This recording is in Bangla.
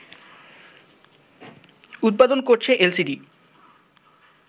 উৎপাদন করছে এলসিডি